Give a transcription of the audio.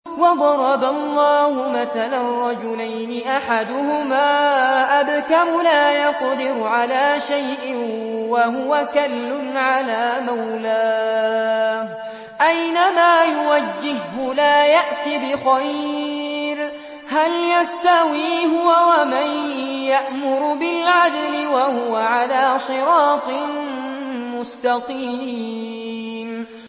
وَضَرَبَ اللَّهُ مَثَلًا رَّجُلَيْنِ أَحَدُهُمَا أَبْكَمُ لَا يَقْدِرُ عَلَىٰ شَيْءٍ وَهُوَ كَلٌّ عَلَىٰ مَوْلَاهُ أَيْنَمَا يُوَجِّههُّ لَا يَأْتِ بِخَيْرٍ ۖ هَلْ يَسْتَوِي هُوَ وَمَن يَأْمُرُ بِالْعَدْلِ ۙ وَهُوَ عَلَىٰ صِرَاطٍ مُّسْتَقِيمٍ